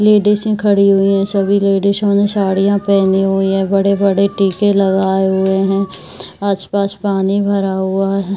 लेडिसे खड़ी हुई है। सभी लेडिसो ने साड़ियाँ पेहनी हुई है। बड़े-बड़े टीके लगाए हुए हैं। आस पास पानी भरा हुआ है।